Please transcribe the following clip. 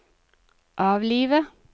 avlive